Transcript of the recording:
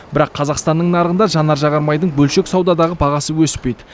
бірақ қазақстанның нарығында жанар жағармайдың бөлшек саудадағы бағасы өспейді